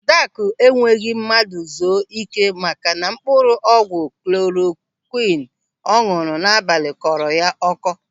Adakụ ekweghị mmadụ zuo ị́ké maka na mkpụrụ ọgwụ klorokwịn ọ ñụ̀rụ̀ n'abalị kọrọ ya ọ́kọ́.